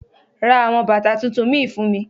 Ra àwọn bàtà tuntun mìí fún mi.